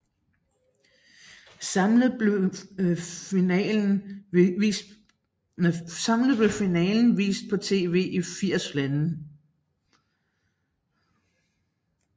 Samlet blev finalen vist på tv i 80 lande